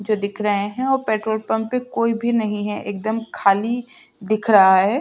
जो दिख रहे हैं और पेट्रोल पंप पे कोइ भी नहीं है एकदम खाली दिख रहा है।